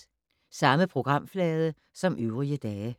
Samme programflade som øvrige dage